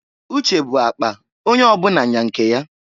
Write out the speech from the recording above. Uche bu akpa, onye ọbụna nya nke ya.